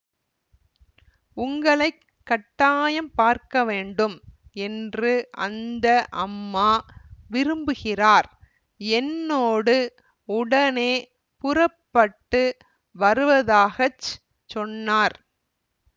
உங்களை கட்டாயம் பார்க்கவேண்டும் என்று அந்த அம்மா விரும்புகிறார் என்னோடு உடனே புறப்பட்டு வருவதாக சொன்னார்